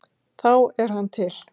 Þá er hann til.